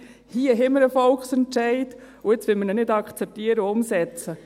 Hier haben wir einen Volksentscheid, und jetzt wollen wir ihn nicht akzeptieren und umsetzen.